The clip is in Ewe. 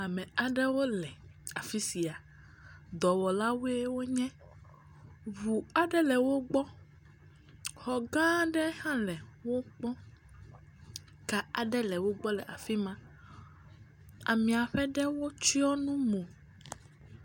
Ame aɖewo le afi sia. Dɔwɔlawoe wo nye. Ŋu aɖe le wogbɔ. Xɔ gã aɖe hã le gbɔ. Ka aɖe le wo gbɔ le afi ma. Amea ƒe ɖewo tsɔ nu mo.